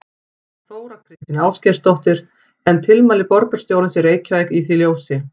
Þóra Kristín Ásgeirsdóttir: En tilmæli borgarstjórans í Reykjavík í því ljósi?